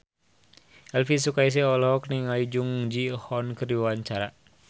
Elvy Sukaesih olohok ningali Jung Ji Hoon keur diwawancara